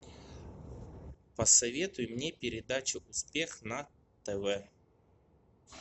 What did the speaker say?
посоветуй мне передачу успех на тв